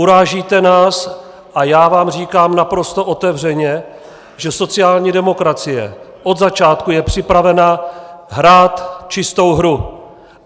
Urážíte nás a já vám říkám naprosto otevřeně, že sociální demokracie od začátku je připravena hrát čistou hru.